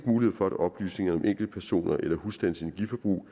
mulighed for at oplysninger om enkeltpersoners eller husstandes energiforbrug